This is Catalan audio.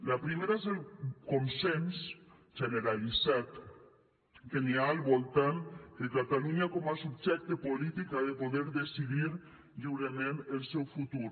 la primera és el consens generalitzat que hi ha al voltant que catalunya com a subjecte polític ha de poder decidir lliurement el seu futur